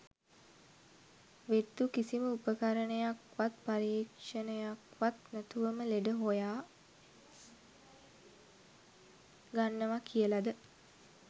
වෙද්දු කිසිම උපකරණයක් වත් පරීක්ෂණයක් වත් නැතුවම ලෙඩ හොයා ගන්නව කියල ද?